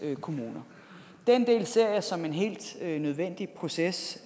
kommuner den del ser jeg som en helt nødvendig proces